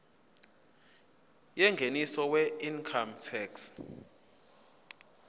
yengeniso weincome tax